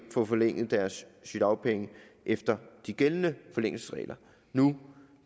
få forlænget deres sygedagpenge efter de gældende forlængelsesregler nu